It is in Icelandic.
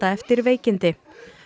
eftir veikindi